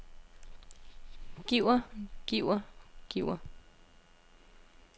giver giver giver